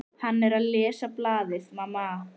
Hann er að lesa blaðið, mamma!